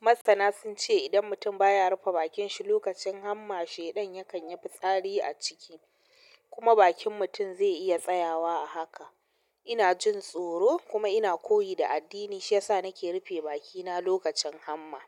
Masana sun ce idan mutum ba ya rufe bakin shi lokacin hamma, shaiɗan yakan yi fitsari a ciki kuma bakin mutum zai iya tsayawa a haka. Ina jin tsoro kuma ina koyi da addini, shi ya sa nake rufe bakina lokacin hamma.